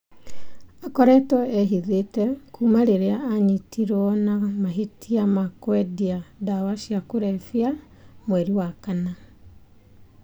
Aakoretwo ehithĩte kuuma rĩrĩa aanyitirũo na mahĩtia ma kwendia ndawa cia kũrebia mweri wa kana.